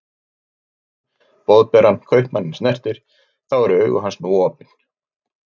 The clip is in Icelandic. Hvað Spámanninn Boðberann Kaupmanninn snertir, þá eru augu hans nú opin.